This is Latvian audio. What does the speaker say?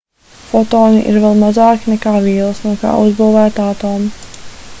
fotoni ir vēl mazāki nekā vielas no kā uzbūvēti atomi